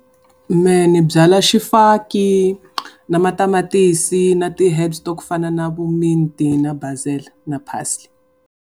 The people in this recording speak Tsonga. Mehe ni byala xifaki na matamatisi na ti-herbs ta ku fana na vu mint-i na basil na parsely.